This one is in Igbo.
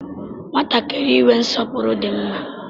Nwatakịrị inwe nsọpụrụ di mma